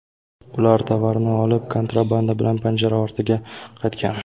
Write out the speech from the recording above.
Ular tovarni olib, kontrabanda bilan panjara ortiga qaytgan.